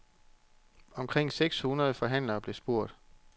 Omkring seks hundrede forhandlere blev spurgt.